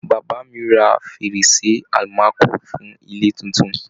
Bàbá mi ra fèrèsé almaco fún ilé tuntun.